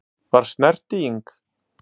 Var snerting?